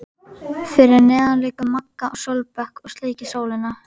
Fyrir neðan liggur Magga á sólbekk og sleikir sólina.